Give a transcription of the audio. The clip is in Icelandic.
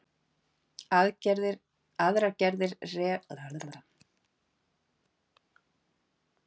Aðrar gerðir rafsegulgeislunar eru til dæmis ljós, röntgengeislar og útvarpsbylgjur.